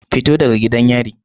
Fito daga gidan yari.